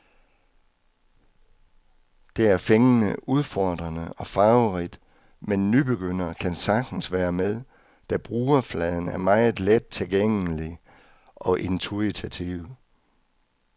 Det er fængende, udfordrende og farverigt, men nybegyndere kan sagtens være med, da brugerfladen er meget lettilgængelig og intuitiv.